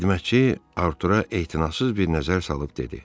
Xidmətçi Artura etinasız bir nəzər salıb dedi: